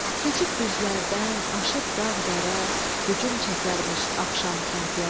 Keçib düzlərdən, aşıb dağ-dərə, hücum çəkərmiş axşam kəndlərə.